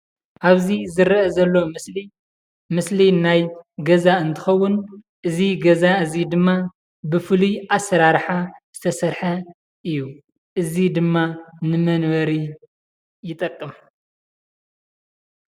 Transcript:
ኣብ እዚ ዝረአ ዘሎ ምስሊ ምስሊ ናይ ገዛ እንትኸውን እዚ ገዛ እዚ ድማ ብፍሉይ ኣሰራራሓ ዝተሰርሐ እዩ። እዚ ድማ ንመንበሪ ይጠቅም